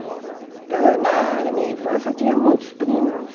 Então, na na minha infância, eu tinha muitos primos.